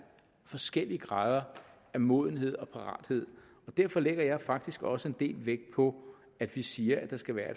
forskellige grader af modenhed og parathed derfor lægger jeg faktisk også en del vægt på at vi siger at der skal være